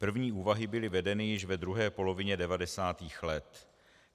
První úvahy byly vedeny již ve druhé polovině 90. let.